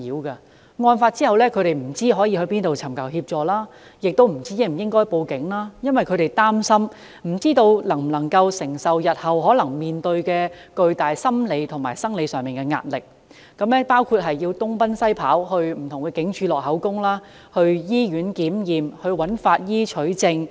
他們在案發後不知道可往哪裏求助，亦不知道應否向警方報案，因為他們擔心自己不知能否承受日後可能面對的巨大心理和生理壓力，包括要東奔西跑，前往不同警署錄取口供、到醫院檢驗、找法醫取證等。